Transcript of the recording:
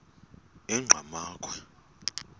enqgamakhwe